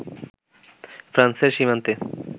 ফ্রান্সের সীমান্তে